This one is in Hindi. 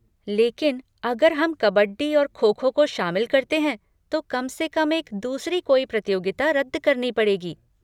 लेकिन अगर हम कबड्डी और खो खो को शामिल करते हैं तो कम से कम एक दूसरी कोई प्रतियोगिता रद्द करनी पड़ेगी।